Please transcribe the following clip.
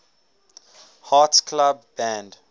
hearts club band